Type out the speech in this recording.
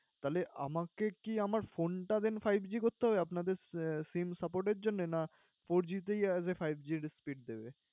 তাহলে আমাকে কি আমার phone টা then fiveG করতে হবে আপনাদের আহ SIM support এর জন্য? না fourG তেই আহ as a fiveG র speed দেবে?